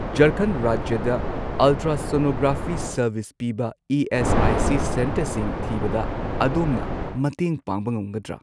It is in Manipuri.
ꯓꯔꯈꯟꯗ ꯔꯥꯖ꯭ꯌꯗ ꯑꯜꯇ꯭ꯔꯥꯁꯣꯅꯣꯒ꯭ꯔꯥꯐꯤ ꯁꯔꯚꯤꯁ ꯄꯤꯕ ꯏ.ꯑꯦꯁ.ꯑꯥꯏ.ꯁꯤ. ꯁꯦꯟꯇꯔꯁꯤꯡ ꯊꯤꯕꯗ ꯑꯗꯣꯝꯅ ꯃꯇꯦꯡ ꯄꯥꯡꯕ ꯉꯝꯒꯗ꯭ꯔꯥ?